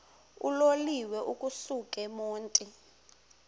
uloliwe ukusuk emontini